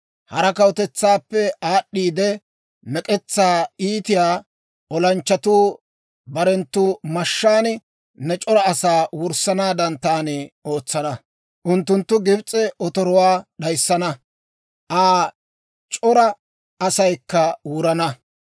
Hara kawutetsaappe aad'd'iide, mek'etsaa iitiyaa olanchchatuu barenttu mashshaan ne c'ora asaa wurssanaadan taani ootsana. Unttunttu Gibs'e otoruwaa d'ayissana; Aa c'ora asaykka wurana.